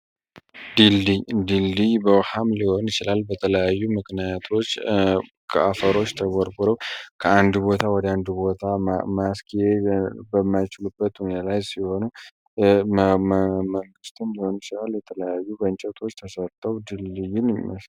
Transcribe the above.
ድልድይ ድልድይ በውሃም ሊሆን ይችላል በተለያዩ ምክንያቶች ከአፈሮች ተጎርጎረው ከአንዱ ቦታ ወደ አንዱ ቦታ ማስኪ በማይችሉበት ውኔ ላይ ሲሆኑ መንግስቱም ሊሆን ይችላል የተለያዩ በእንጨቶች ተሰርተው ድልድዩን ይጠቀማሉ።